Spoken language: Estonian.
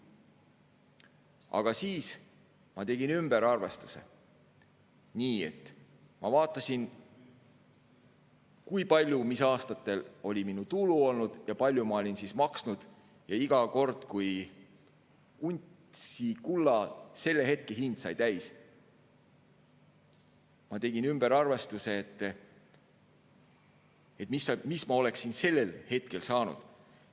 Aga siis ma tegin ümberarvestuse, ma vaatasin, kui oli olnud aastal minu tulu ja palju ma olin maksnud, ja iga kord, kui untsi kulla selle hetke hind sai täis, tegin ma ümberarvestuse, mis ma oleksin sellel hetkel saanud.